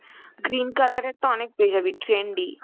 green color এর টা অনেক পেয়েযাবি trendy